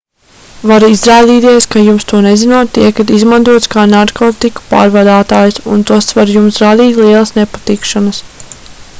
var izrādīties ka jums to nezinot tiekat izmantots kā narkotiku pārvadātājs un tas var jums radīt lielas nepatikšanas